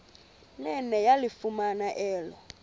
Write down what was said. nene yalifumana elo